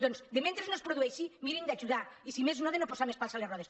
doncs mentre no es produeixi mirin d’ajudar i si més no de no posar més pals a les rodes